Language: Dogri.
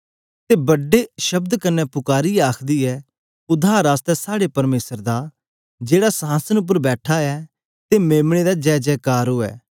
ते बड्डे शब्द कन्ने पुकारिऐ आखदी ऐ उद्धार आसतै साड़े परमेसर दा जेहड़ा संहासन उपर बैठा ऐ ते मेम्ने दा जय जय कर उवै